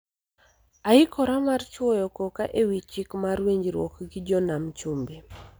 Aikora mar chwoyo koka e wi chik mar winjruok gi jo Nam Chumbi